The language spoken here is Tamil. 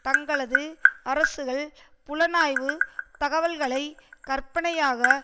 தங்களது அரசுகள் புலனாய்வு தகவல்களை கற்பனையாக